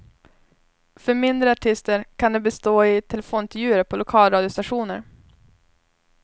För mindre artister kan det bestå i telefonintervjuer på lokalradiostationer.